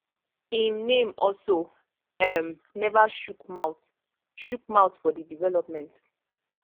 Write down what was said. im name also um neva chook mouth chook mouth for di development